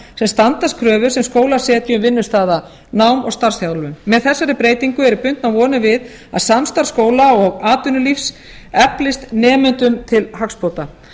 sem standast kröfur sem skólar setja um vinnustaðanám og starfsþjálfun með þessari breytingu eru bundnar vonir við að samstarf skóla og atvinnulífs eflist nemendum til hagsbóta